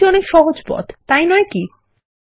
এটা অনেক সহজ পথ তাই নয় কি160